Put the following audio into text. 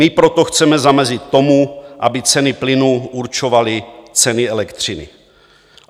My proto chceme zamezit tomu, aby ceny plynu určovaly ceny elektřiny.